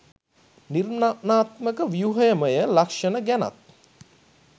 නිර්මාණාත්මක ව්‍යුහමය ලක්ෂණ ගැනත්